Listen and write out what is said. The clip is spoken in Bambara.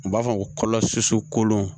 U b'a fɔ kolo susu kolon